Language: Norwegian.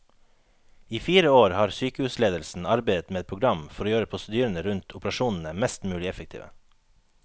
I fire år har sykehusledelsen arbeidet med et program for å gjøre prosedyrene rundt operasjonene mest mulig effektive.